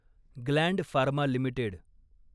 Gland Pharma limited